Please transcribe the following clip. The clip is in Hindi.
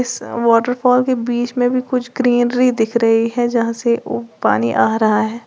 इस वाटरफॉल के बीच में भी कुछ ग्रीनरी दिख रही है जहां से वो पानी आ रहा है।